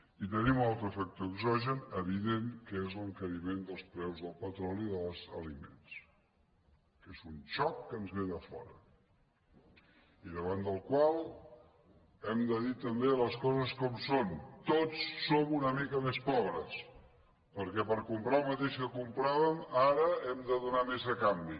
i tenim un altre factor exogen evident que és l’encari·ment dels preus del petroli i dels aliments que és un xoc que ens ve de fora i davant del qual hem de dir també les coses com són tots som una mica més pobres perquè per comprar el mateix que compràvem ara hem de do·nar més a canvi